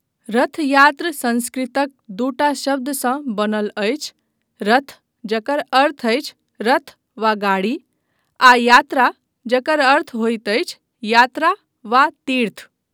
रथ यात्र संस्कृतक दूटा शब्दसँ बनल अछि, रथ, जकर अर्थ अछि रथ वा गाड़ी, आ यात्रा, जकर अर्थ होइत अछि यात्रा वा तीर्थ।